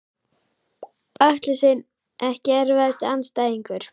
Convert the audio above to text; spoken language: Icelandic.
Atli Sveinn EKKI erfiðasti andstæðingur?